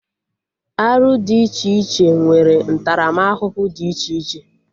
Arụ dị iche iche nwere ntaramahụhụ dị iche iche